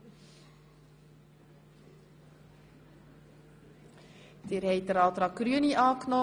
Sie haben den Antrag Grüne angenommen.